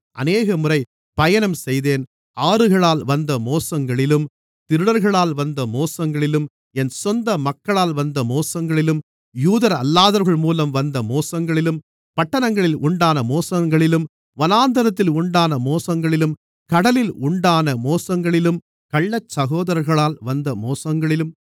அநேகமுறை பயணம் செய்தேன் ஆறுகளால் வந்த மோசங்களிலும் திருடர்களால் வந்த மோசங்களிலும் என் சொந்த மக்களால் வந்த மோசங்களிலும் யூதரல்லாதவர்கள் மூலம் வந்த மோசங்களிலும் பட்டணங்களில் உண்டான மோசங்களிலும் வனாந்திரத்தில் உண்டான மோசங்களிலும் கடலில் உண்டான மோசங்களிலும் கள்ளச்சகோதரர்களால் வந்த மோசங்களிலும்